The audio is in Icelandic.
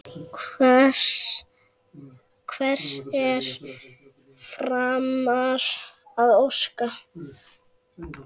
Hvers er framar að óska?